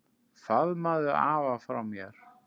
Faðmaðu afa frá mér.